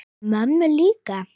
Mömmu líka?